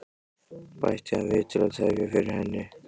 bætti hann við til að tefja fyrir henni.